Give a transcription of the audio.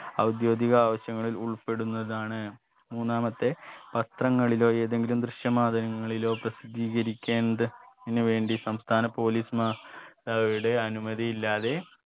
ഔദ്യോഗിക ആവശ്യങ്ങളിൽ ഉൾപ്പെടുന്നതാണ് മൂന്നാമത്തെ വസ്ത്രങ്ങളിലോ ഏതെങ്കിലും ദൃശ്യ മാധ്യമങ്ങളിലോ പ്രസിദ്ധീകരിക്കേണ്ട തിനു വേണ്ടി സംസ്ഥാന police മാർ അവരുടെ അനുമതിയില്ലാതെ